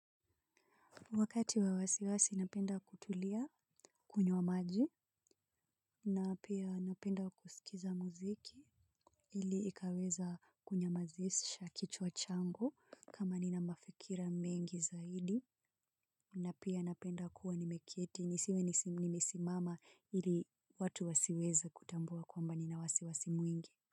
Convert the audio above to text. Wakati wa wasiwasi napenda kutulia kunywa maji na pia napenda kusikiza muziki ili ikaweza kunyamazisha kichwa changu kama nina mafikira mengi zaidi na pia napenda kuwa nimeketi nisiwe nimesimama ili watu wasiweza kutambua kwamba nina wasiwasi mwingi.